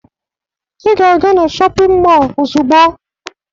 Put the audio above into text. Ị ga-aga na shọpịn mọọ ozugbo!